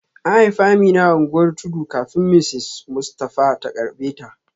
An haifi Amina a unguwar tudu kafin Mrs Mustafa ta karbe ta